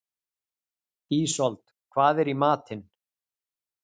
Ísold, hvað er í matinn?